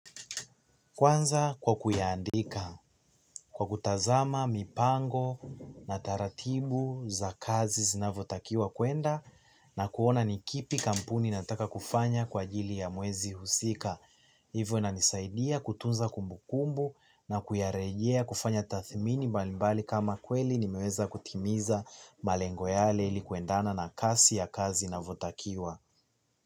Kwanza kwa kuiandika, kwa kutazama, mipango, na taratibu za kazi zinavotakiwa kwenda na kuona ni kipi kampuni inataka kufanya kwa ajili ya mwezi husika. Hivyo inanisaidia kutunza kumbukumbu na kuyarejea kufanya tathmini mbalimbali kama kweli nimeweza kutimiza malengo yale ili kuendana na kasi ya kazi inavotakiwa.